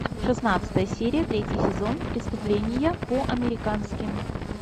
шестнадцатая серия третий сезон преступления по американски